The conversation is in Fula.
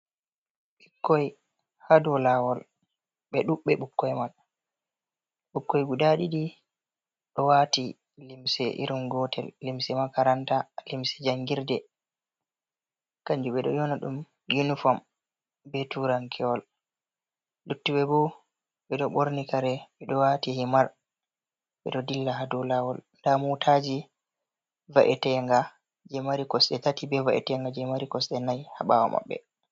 Ɓikkoi ha dou lawol ɓe ɗuɓbe ɓukkoy man, ɓukoi guda ɗiɗi ɗo wati limse irin gotel, limse makaranta, limse jangirde, kanjum ɓe ɗo yona ɗum uniform be turankewol. Luttuɓe bo ɓeɗo ɓorni kare, ɓeɗo wati himar ɓeɗo dilla, ha dou lawol, nda motaji va’etenga je mari kosɗe tati be va’etenga je mari kosde nai ha ɓawo maɓɓe.